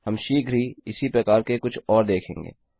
हम शीघ्र ही इसी प्रकार के कुछ और देखेंगे